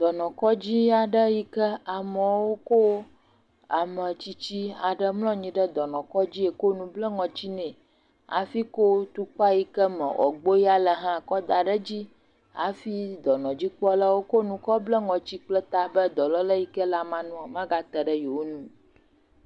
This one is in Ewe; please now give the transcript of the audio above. Dɔnɔkɔdzi aɖe yike ame aɖe kɔ ametsitsi mlɔ anyi ɖe dɔnɔkɔdzi kɔ nu bla ŋɔti nɛ hafi kɔ atukpa yike me woagbɔ ya le kɔdaɖe dzi hafi dɔnɔdzikpɔlawo kɔ nu bla ta kple ŋɔti be dɔlele yike le amea nua magate ɖe yewo nu o